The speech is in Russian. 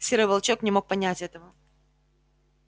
серый волчок не мог понять этого